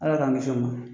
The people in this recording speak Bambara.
Ala k'an kisi o ma